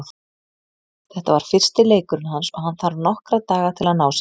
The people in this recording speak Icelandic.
Þetta var fyrsti leikurinn hans og hann þarf nokkra daga til að ná sér.